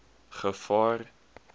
gevaar